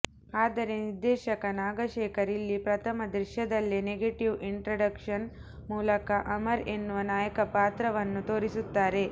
ಆದರೆ ನಿರ್ದೇಶಕ ನಾಗಶೇಖರ್ ಇಲ್ಲಿ ಪ್ರಥಮ ದೃಶ್ಯದಲ್ಲೇ ನೆಗೆಟಿವ್ ಇಂಟ್ರಡಕ್ಷನ್ ಮೂಲಕ ಅಮರ್ ಎನ್ನುವ ನಾಯಕ ಪಾತ್ರವನ್ನು ತೋರಿಸುತ್ತಾರೆ